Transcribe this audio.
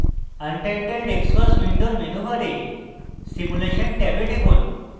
untitled xcos window মেনুবারে simulation ট্যাবে টিপুন